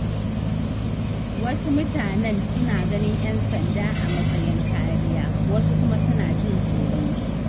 Wasu mutanen suna ganin ƴan sanda a matsayin kariya, wasu kuma suna jin tsoronsu.